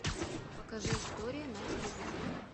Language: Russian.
покажи история на телевизоре